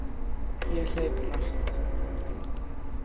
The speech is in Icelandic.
Ég hleyp hratt.